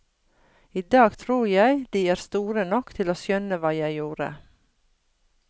I dag tror jeg de er store nok til å skjønne hva jeg gjorde.